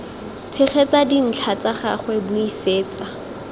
tshegetsa dintlha tsa gagwe buisetsa